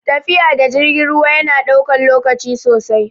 Tafiya da jirgin ruwa yana ɗaukan lokaci sosai